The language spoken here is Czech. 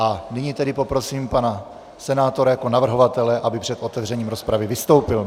A nyní tedy poprosím pana senátora jako navrhovatele, aby před otevřením rozpravy vystoupil.